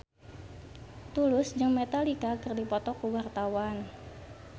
Tulus jeung Metallica keur dipoto ku wartawan